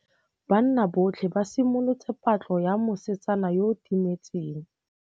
Banna botlhê ba simolotse patlô ya mosetsana yo o timetseng.